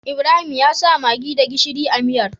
Ibrahim yasa maggi da gishiri a miyar